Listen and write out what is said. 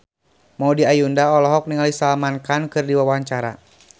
Maudy Ayunda olohok ningali Salman Khan keur diwawancara